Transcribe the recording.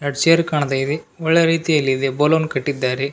ಎರಡ್ ಚೇರ್ ಕಾಣ್ತಾಯಿದೆ ಒಳ್ಳೆ ರೀತಿಯಲ್ಲಿದೆ ಬಲೂನ್ ಕಟ್ಟಿದ್ದಾರೆ.